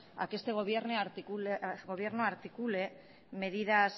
a que este gobierno articule medidas